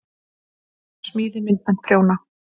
Smíði- myndmennt- prjóna